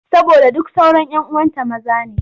Saboda duk sauran 'yan uwanta maza ne.